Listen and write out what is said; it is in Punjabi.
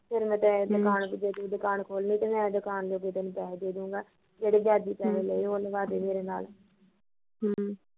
ਤੈ ਜੇ ਦੁਕਾਨ ਖੋਲਣੀ ਤਾਂ ਮੈਂ ਦੁਕਾਨ ਜੋਗੇ ਪੈਸੇ ਹਮ ਦੇਦਾਊਗਾ, ਜਿਹੜੀ ਵਿਆਜੀ ਪੈਸੇ ਲੈ ਉਹ ਲਹਾਦੇ ਮੇਰੇ ਨਾਲ਼ ਹਮ